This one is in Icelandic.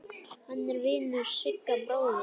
Hann er vinur Sigga bróður.